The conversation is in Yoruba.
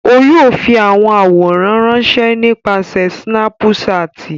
O yóò fi awọn aworan ranṣẹ nipasẹ Sinapuṣati.